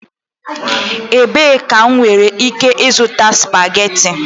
Ebee ka m nwere ike ịzụta spageti?